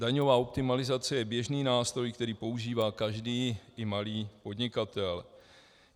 Daňová optimalizace je běžný nástroj, který používá každý i malý podnikatel.